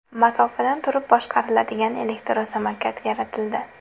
Masofadan turib boshqariladigan elektrosamokat yaratildi.